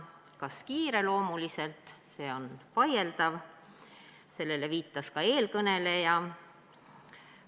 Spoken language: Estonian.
Kas kiireloomuliselt, see on vaieldav, sellele viitas ka eelkõneleja.